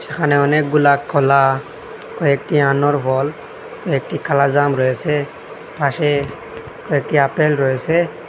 এখানে অনেকগুলা কলা কয়েকটি আনোর ফল কয়েকটি কালাজাম রয়েসে পাশে কয়েকটি আপেল রয়েসে।